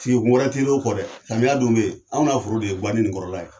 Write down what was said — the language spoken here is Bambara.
Sigi kun wɛrɛ t'i r'o kɔ dɛ. samiya dun bɛ yen, anw n'a foro de ye ganin kɔrɔ la ye.